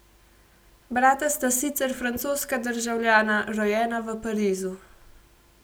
Brata sta sicer francoska državljana, rojena v Parizu.